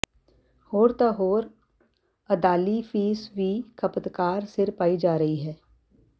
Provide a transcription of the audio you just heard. ਹੋਰ ਤਾਂ ਹੋਰ ਅਦਾਲੀ ਫੀਸ ਵੀ ਖ਼ਪਤਕਾਰ ਸਿਰ ਪਾਈ ਜਾ ਰਹੀ ਹੈ